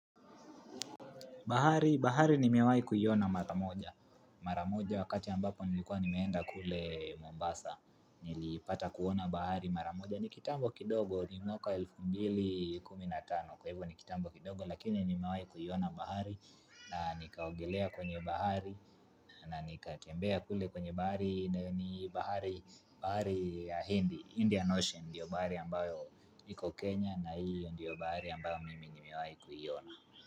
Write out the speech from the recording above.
Bahari, bahari nimewai kuiona mara moja. Mara moja wakati ambapo nilikuwa nimeenda kule Mombasa, nilipata kuona bahari. Mara moja ni kitambo kidogo ni mwaka elfu mbili kuminatano. Kwa hivyo ni kitambo kidogo lakini nimewahi kuiona bahari na nikaogelea kwenye bahari na nikatembea kule kwenye bahari ni bahari Indian Ocean. Ndio bahari ambayo iko Kenya na iyo ndiyo bahari ambayo nimewahi kuiona.